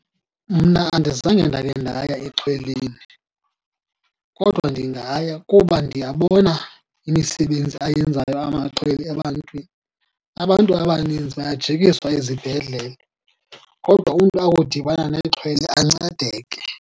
Mna andizange ndakhe ndaya exhweleni, kodwa ndingaya kuba ndiyabona imisebenzi ayenzayo amaxhwele ebantwini. Abantu abaninzi bayajikiswa ezibhedlele kodwa umntu akudibana nexhwele ancedeke.